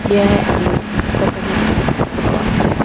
यह एक कपड़ो की दुकान है।